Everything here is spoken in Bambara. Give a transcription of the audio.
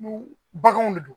baganw de don